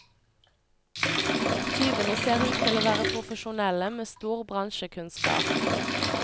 Tyvene ser ut til å være profesjonelle med stor bransjekunnskap.